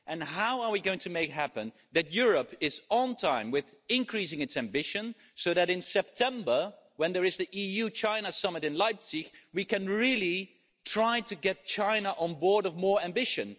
How are we going to make it happen that Europe is on time with increasing its ambition so that in September, when there is the EU China summit in Leipzig, we can really try to get China on board with more ambition?